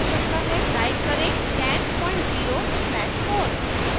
type करें 100 slash 4